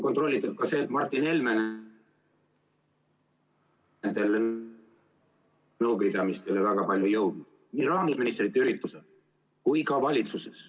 Kontrollitud on ka see, et Martin Helme nendele nõupidamistele väga palju ei jõudnud, ei rahandusministrite üritustel ega ka valitsuses.